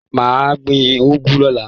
Mà á gbìn ugu lọ̀la